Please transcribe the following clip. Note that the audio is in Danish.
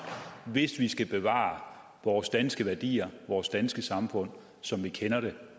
hvis vi skal bevare vores danske værdier og vores danske samfund som vi kender det